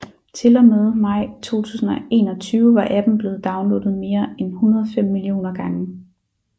Til og med maj 2021 var appen blevet downloadet mere end 105 millioner gange